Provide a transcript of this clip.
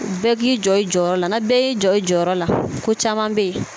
Bɛɛ k'i jɔ i jɔyɔrɔ la ni bɛɛ y'i jɔ i jɔyɔrɔ la ko caman bɛ yen